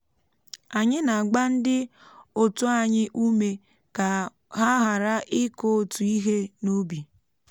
anyị na-agba ndị otu anyị ume ka ha ghara ịkụ otu ihe n’ubi